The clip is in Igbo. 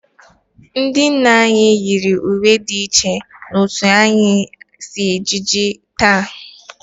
Ndị nna nna anyị yiri uwe dị iche n'otú anyị si eji ejiji taa